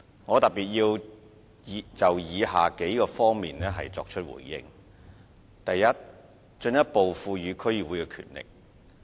我特別就以下幾方面作出回應：第一，進一步賦予區議會權力。